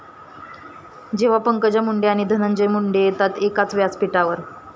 ...जेव्हा पंकजा मुंडे आणि धनंजय मुंडे येतात एकाच व्यासपीठावर